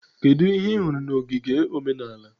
Kedu ihe ị hụrụ na ogige omenala?